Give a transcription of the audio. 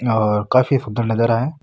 और काफी सुन्दर नजारा है।